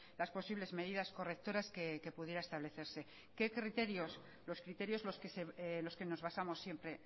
las posibles medidas correctoras que pudiera establecerse qué criterios los criterios los que nos basamos siempre